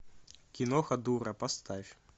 киноха дура поставь